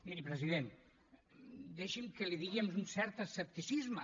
miri president deixi’m que li digui amb un cert escepticisme